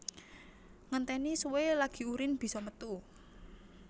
Ngentèni suwe lagi urin bisa metu